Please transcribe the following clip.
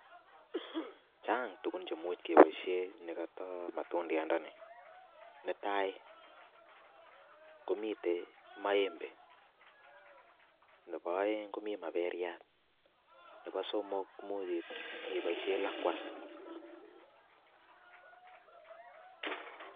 Chang tukun che imuche keboishen nekotoo matudayat ndoni netai komiten maembe nebo oeng komii maperiat nebo somok koimuch iboishen lakwas.